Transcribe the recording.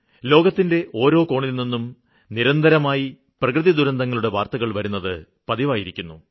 ലോകത്തിന്റെ ഓരോ കോണില്നിന്നും നിരന്തരമായി പ്രകൃതി ദുരന്തങ്ങളുടെ വാര്ത്തകള് വരുന്നത് പതിവായിരിക്കുന്നു